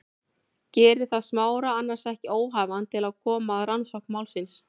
Gerir það Smára annars ekki óhæfan til að koma að rannsókn málsins?